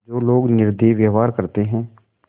जो लोग निर्दयी व्यवहार करते हैं